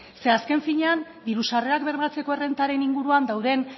zer azken finean diru sarrerak bermatzeko errentaren inguruan dauden